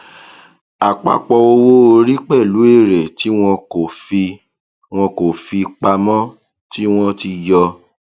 àpapọ owó orí pẹlú èrè tí wọn kò fi wọn kò fi pamọ tí wọn ti yọ